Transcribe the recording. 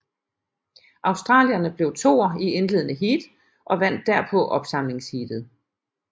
Australierne blev toer i indledende heat og vandt derpå opsamlingsheatet